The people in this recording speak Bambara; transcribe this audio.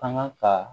Kanga ka